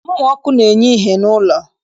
Mmụ ọkụ na-enye ìhè n'ụlọ